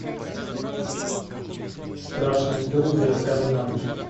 страшные истории для рассказа на ночь